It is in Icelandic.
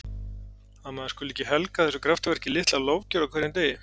Að maður skuli ekki helga þessu kraftaverki litla lofgjörð á hverjum degi.